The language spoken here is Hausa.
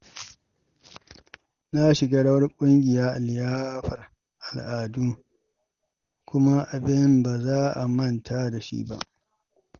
Na shiga rawar ƙungiya a liyafar al’adu, kuma abin ba za a manta da shi ba.